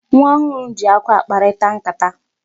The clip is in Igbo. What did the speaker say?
Nwa ọhụrụ ji akwa akparịta nkata.